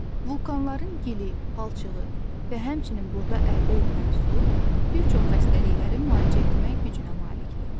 Vulkanların gili, palçığı və həmçinin burda əldə edilən su bir çox xəstəlikləri müalicə etmək gücünə malikdir.